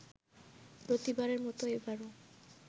প্রতিবারের মতো এবারও